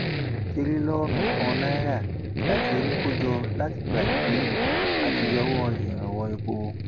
tìrìlónú kan náírà la ti rí kó jọ látìgbà tá a ti yọwọ ìrànwọ epo